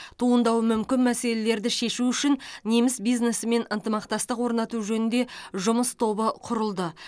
туындауы мүмкін мәселелерді шешу үшін неміс бизнесімен ынтымақтастық орнату жөнінде жұмыс тобы құрылды